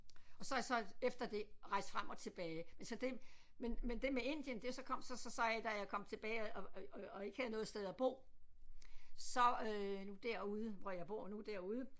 Og så er jeg så efter det rejst frem og tilbage altså det men men det var med Indien det så kom sig så af da jeg kom tilbage og og ikke havde noget sted at bo så derude hvor jeg bor nu derude